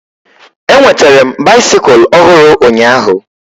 Enwetere m baisikụl ọhụrụ ụnyaahụ